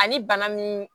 Ani bana min